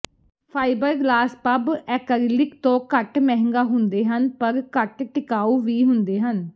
fibreglass ਪੱਬ acrylic ਤੋਂ ਘੱਟ ਮਹਿੰਗਾ ਹੁੰਦੇ ਹਨ ਪਰ ਘੱਟ ਟਿਕਾਊ ਵੀ ਹੁੰਦੇ ਹਨ